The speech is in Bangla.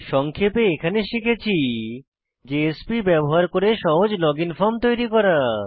সংক্ষেপে এখানে শিখেছি জেএসপি ব্যবহার করে সহজ লগইন ফর্ম তৈরি করা